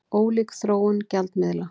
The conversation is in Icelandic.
Ólík þróun gjaldmiðla